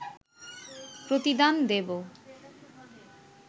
প্রতিদান দেব